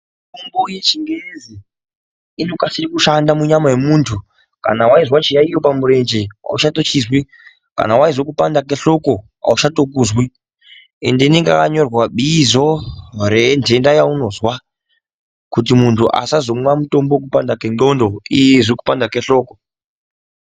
Mitombo yechingezi inokasira kushanda munyama yemuntu kana waizwa chiyaiyo pamurenje auchatochizwi kana waizwa kupanda kwe hloko auchatokuzwi ende inenge yakanyorwa bizo renjenda yaunozwa kuti muntu asazomwa mutombo wokupanda kwendxondo iye eizwe kupanda kwe hloko.